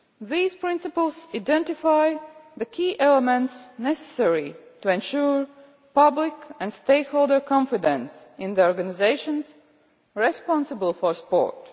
These principles identify the key elements necessary to ensure public and stakeholder confidence in the organisations responsible for sport.